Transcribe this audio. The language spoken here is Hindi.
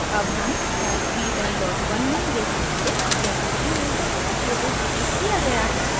अब हम tag v11 नहीं tag सकते जैसे कि यह सफलतापूर्वक डिलीट किया गया है